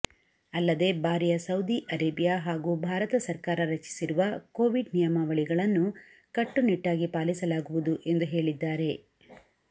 ಅಲ್ಲದೇ ಬಾರಿಯ Saudi Arabia ಹಾಗೂ ಭಾರತ ಸರ್ಕಾರ ರಚಿಸಿರುವ ಕೋವಿಡ್ ನಿಯಮಾವಳಿಗಳನ್ನು ಕಟ್ಟುನಿಟ್ಟಾಗಿ ಪಾಲಿಸಲಾಗುವುದು ಎಂದು ಹೇಳಿದ್ದಾರೆ